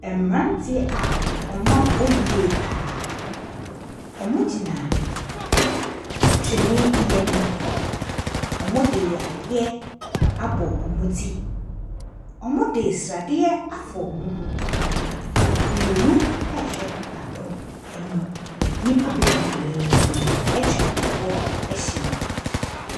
Ɛmberantiɛ a ɔmo abɔ yie paa. Ɔmo gyina twene bi enim. Ɔmo de adeɛ abɔ ɔmo ti, ɔmo de sradeɛ afa ɔmo ho. Mienu ɛɛhwɛ baako enim. Nipa bebree etwa ɛhɔ ehyia.